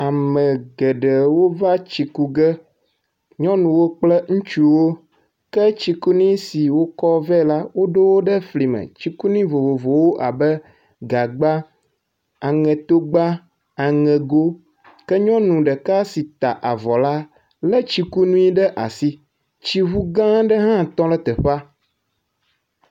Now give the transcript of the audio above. Ame geɖewo va tsi ku ge. Nyɔnuwo kple ŋutsuwo ke tsikunu si wokɔ vɛ la woɖo wo ɖe flime. Tsikunu vovovowo abe, gagba, aŋetogba, aŋego ke nyɔnu ɖeka si ta avɔ la le tsikunu ɖe asi. Tsŋu gã aɖe hã tɔ ɖe teƒea.